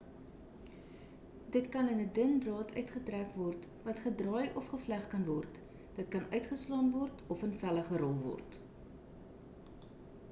dit kan in 'n dun draad uitgetrek word wat gedraai of gevleg kan word dit kan uitgeslaan word of in velle gerol word